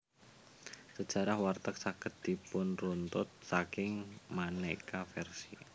Sejarah warteg saged dipunruntut saking maneka versi